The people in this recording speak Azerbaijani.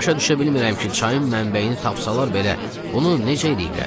Başa düşə bilmirəm ki, çayın mənbəyini tapsalar belə bunu necə eləyiblər?